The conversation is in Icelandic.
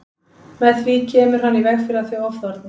Með því kemur hann í veg fyrir að þau ofþorni.